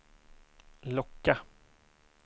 locka